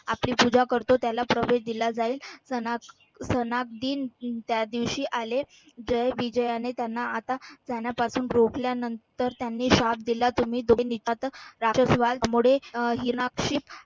आपली पूजा करतो. त्याला प्रवेश दिला जाईल त्या दिवशी आले जय विजयाने त्यांना जाण्यापासून रोखल्यानंतर त्यांनी श्राप दिला. तुम्ही दोघे राक्षस व्हाल. त्यामुळे